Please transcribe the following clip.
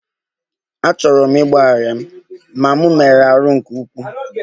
Achọrọ m ịgbaghara ya, ma m merụrụ ahụ nke ukwuu